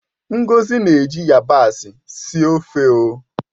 Ngozi na-eji yabasị síé ofeo